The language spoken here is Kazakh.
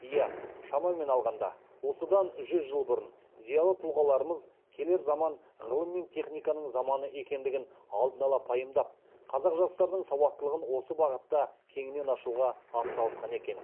иә шамамен алғанда осыдан жүз жыл бұрын зиялы тұлғаларымыз келер заман ғылым мен техниканың заманы екендігін алдын ала пайымдап қазақ жастарының сауаттылығын осы бағытта кеңінен ашуға ат салысқан екен